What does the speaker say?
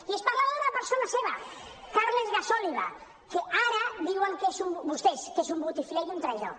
i es parla d’una persona seva carles gasòliba que ara diuen vostès que és un botifler i un traïdor